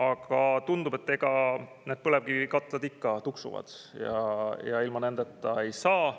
Aga tundub, et need põlevkivikatlad ikka tuksuvad ja ilma nendeta saa.